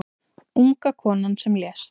Unga konan sem lést